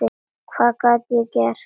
Hvað gat ég gert?